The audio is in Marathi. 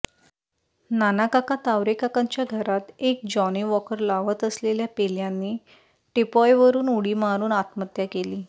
नानाकाका तावरेकाकांच्या घरात एक जाॅनी वाॅकर लावत असलेल्या पेल्यानी टिपाॅयवरून उडी मारून आत्महत्या केली